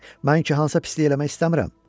Mən ki, Hansa pislik eləmək istəmirəm.